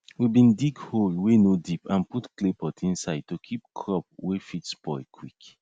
we bin dig hole wey no deep and put clay pot inside to keep crop wey fit spoil quick